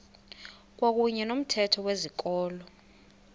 kwakuyne nomthetho wezikolo